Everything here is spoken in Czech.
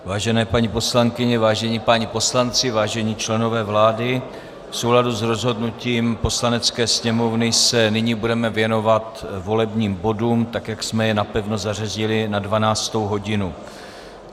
Vážené paní poslankyně, vážení páni poslanci, vážení členové vlády, v souladu s rozhodnutím Poslanecké sněmovny se nyní budeme věnovat volebním bodům tak, jak jsme je napevno zařadili na 12. hodinu.